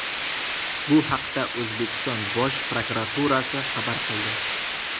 Bu haqda O‘zbekiston Bosh prokuraturasi xabar qildi .